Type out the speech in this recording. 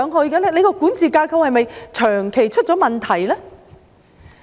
港鐵公司的管治架構是否長期出現問題呢？